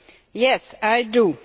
Yes, I do.